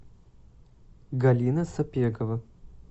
галина сапекова